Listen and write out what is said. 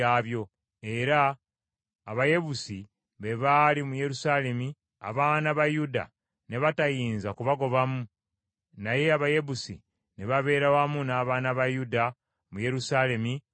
Abayebusi, be baali mu Yerusaalemi abaana ba Yuda ne batayinza kubagobamu; Abayebusi ne babeera wamu n’abaana ba Yuda mu Yerusaalemi n’okutuusa kaakano.